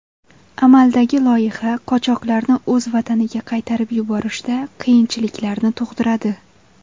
Amaldagi loyiha qochoqlarni o‘z vataniga qaytarib yuborishda qiyinchiliklarni tug‘diradi.